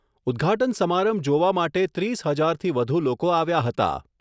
ઉદ્ઘાટન સમારંભ જોવા માટે ત્રીસ હજારથી વધુ લોકો આવ્યા હતા.